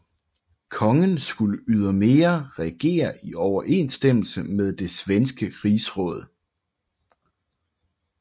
Kongen skulle ydermere regere i overensstemmelse med det svenske Rigsråd